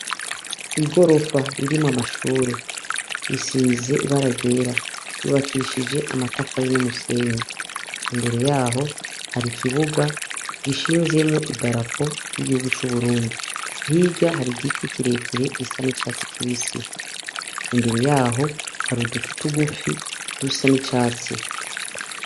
Igorofa irimwo amashure risize ibara ryera ryubakishije amatafari n' umusenyi imbere yaho hari ikibuga gishinzemwo idarapo ry' igihugu c' Uburundi hirya hari igiti kire kire gisa n' icatsi kibisi imbere yaho hari uduti tugufi dusa n' icatsi.